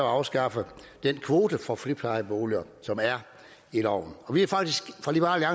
afskaffe den kvote for friplejeboliger som er i loven vi har faktisk fra liberal